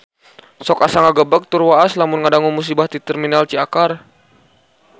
Sok asa ngagebeg tur waas lamun ngadangu musibah di Terminal Ciakar